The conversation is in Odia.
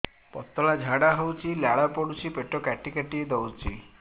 ପତଳା ଝାଡା ହଉଛି ଲାଳ ପଡୁଛି ପେଟ କାଟି କାଟି ଦଉଚି